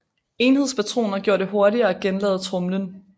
Enhedspatroner gjorde det hurtigere at genlade tromlen